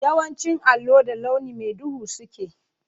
Yawancin allo da launi mai duhu suke.